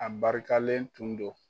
A barikalen tun don.